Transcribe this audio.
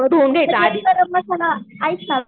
गरम मसाला ऐक ना